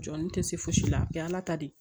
Jɔn ni tɛ se fosi la a bɛ ye ala ta de ye